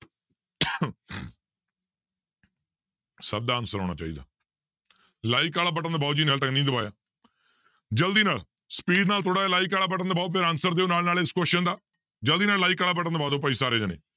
ਸਭ ਦਾ answer ਆਉਣਾ ਚਾਹੀਦਾ like ਵਾਲਾ button ਦਬਾਓ ਜਿਹਨੇ ਹਾਲੇ ਤੱਕ ਨਹੀਂ ਦਬਾਇਆ ਜ਼ਲਦੀ ਨਾਲ speed ਨਾਲ ਥੋੜ੍ਹਾ ਜਿਹਾ like ਵਾਲਾ button ਦਬਾਓ ਫਿਰ answer ਦਿਓ ਨਾਲ ਨਾਲ ਇਸ question ਦਾ ਜ਼ਲਦੀ ਨਾਲ like ਵਾਲਾ button ਦਬਾ ਦਓ ਭਾਈ ਸਾਰੇ ਜਾਣੇ